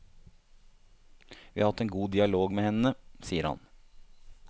Vi har hatt en god dialog med henne, sier han.